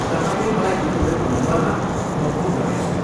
तपाईँले मलाई दिनुभएको नम्बरमा म फोन गर्नेछु।